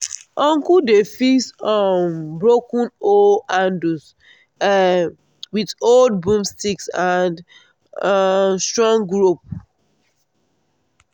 uncle dey fix um broken hoe handles um with old broomsticks and um strong rope.